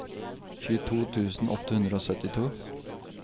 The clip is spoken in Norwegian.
tjueto tusen åtte hundre og syttito